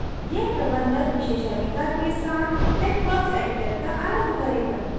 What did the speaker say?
यह प्रबंधक विशेषाधिकार के साथ texworks editor का आरम्भ करेगा